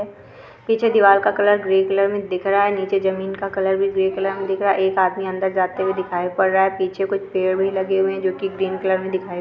पीछे दीवार का कलर ग्रे कलर मे दिख रहा है नीचे जमीन का कलर भी ग्रे कलर मे दिख रहा है एक आदमी अंदर जाते हुए दिखाई पड़ रहा है पीछे कुछ पेड़ भी लगे हुए है जोकि ग्रीन कलर मे दिखाई पड़ रहे है।